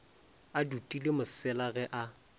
a dutile mosela ge a